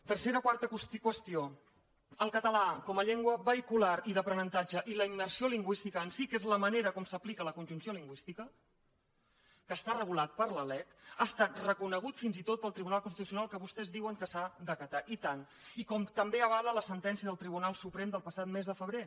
tercera o quarta qüestió el català com a llengua vehicular i d’aprenentatge i la immersió lingüística en si que és la manera com s’aplica la conjunció lingüística que està regulat per la lec ha estat reconegut fins i tot pel tribunal constitucional que vostès diuen que s’ha d’acatar i tant i com també avala la sentència del tribunal suprem del passat mes de febrer